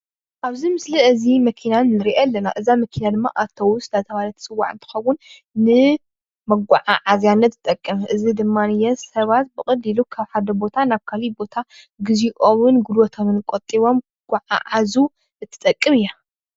ኣብዚ ምስሊ እዚ መኪና ንርኢ ኣለና እዛ መኪና ድማ አውቶቡስ እንዳተባሃለት እትፅዋዕ እንትኸውን ንመጓጋዓዝያነት ትጠቅም እዚ ድማ ሰባት ብቀሊሉ ካብ ሓደ ቦታ ናብ ካልእ ቦታ ግዚኦም ጉልቦቶምን ቆጢቦም ክጓዓዓዙ እትጠቅም እያ።